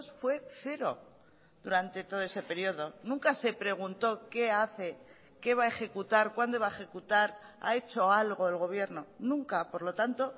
fue cero durante todo ese periodo nunca se preguntó qué hace qué va a ejecutar cuándo va a ejecutar ha hecho algo el gobierno nunca por lo tanto